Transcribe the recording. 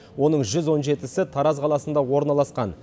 оның жүз он жетісі тараз қаласында орналасқан